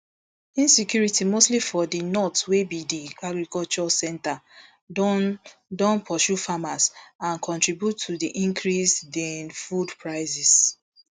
insecurity mostly for di north wey be di agriculture centre don don pursue farmers and contribute to di increase din food prices